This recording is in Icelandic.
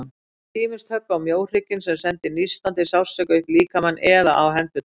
Hann fékk ýmist högg á mjóhrygginn, sem sendi nístandi sársauka upp líkamann, eða á hendurnar.